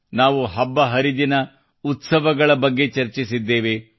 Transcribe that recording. ನಾವು ಹಬ್ಬ ಹರಿದಿನ ಉತ್ಸವಗಳ ಬಗ್ಗೆಯೂ ಚರ್ಚಿಸಿದ್ದೇವೆ